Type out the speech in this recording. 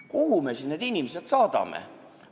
Kuhu me siis need inimesed saadame?